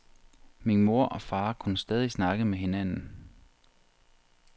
Min mor og far kunne stadig snakke med hinanden.